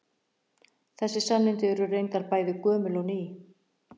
Þessi sannindi eru reyndar bæði gömul og ný.